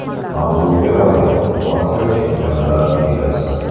Mavzuga oid: Osiyo Chempionlar ligasi.